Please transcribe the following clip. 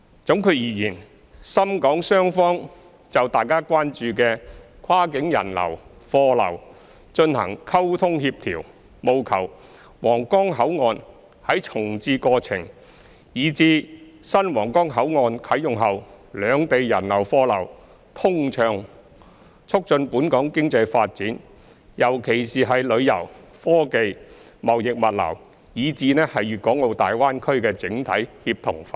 總括而言，深港雙方就大家關注的跨境人流、貨流進行溝通協調，務求皇崗口岸在重置過程，以至新皇崗口岸啟用後，兩地人流、貨流通暢，促進本港經濟發展，尤其是旅遊、科技、貿易物流，以至大灣區的整體協同發展。